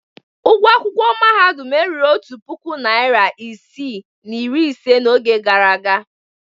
Ụgwọ akwụkwọ mahadum erughị otu puku naịra isii na iri ise n'oge gara aga.